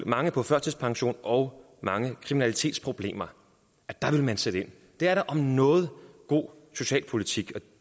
mange på førtidspension og mange kriminalitetsproblemer der vil man sætte ind det er da om noget god socialpolitik